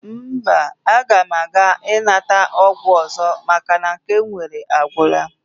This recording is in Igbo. Mba, aga m aga nata ọgwụ ọzọ maka na nke m nwere agwụla